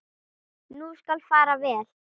Nú skal fara vel.